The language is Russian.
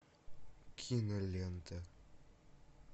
кинолента